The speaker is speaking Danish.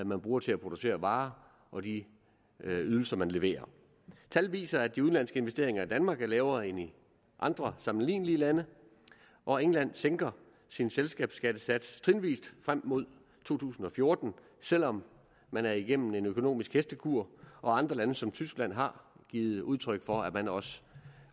man bruger til at producere varer og de ydelser man leverer tal viser at de udenlandske investeringer i danmark er lavere end i andre sammenlignelige land og england sænker sin selskabsskattesats trinvis frem mod to tusind og fjorten selv om man er igennem en økonomisk hestekur og andre lande som tyskland har givet udtryk for at man også